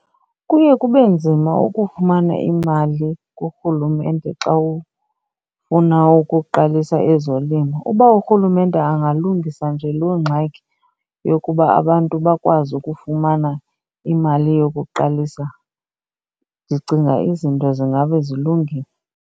Kuye kube nzima ukufumana imali kurhulumente xa ufuna ukuqalisa ezolimo. Uba urhulumente angalungisa nje loo ngxaki yokuba abantu bakwazi ukufumana imali yokuqalisa ndicinga izinto zingabe zilungile.